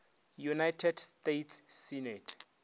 united states senate